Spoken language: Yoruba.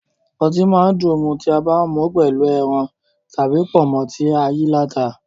Ọtí máa dùn mu tí a bá mú pẹ̀lú ẹran tàbí pọ̀nmọ́ tí ayíaláta